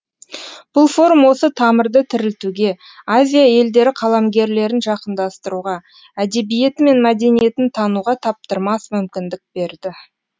бұл форум осы тамырды тірілтуге азия елдері қаламгерлерін жақындастыруға әдебиеті мен мәдениетін тануға таптырмас мүмкіндік берді